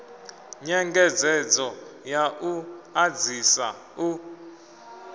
nyengedzedzo ya u ḓadzisa u